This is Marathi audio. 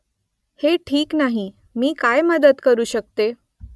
हे ठीक नाही . मी काय मदत करू शकते ?